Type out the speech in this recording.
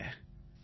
நன்றி சார்